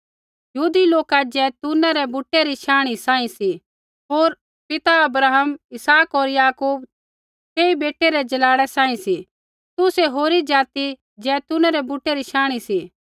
यहूदी लोका जैतूना रै बूटै री शांणी सांही सी होर पिता अब्राहम इसहाक होर याकूब तेई बुटै रै जलाड़ै सांही सी तुसै होरी जाति जैतूना रै बुटै री शांणी सी